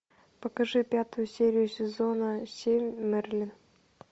покажи пятую серию сезона семь мерлин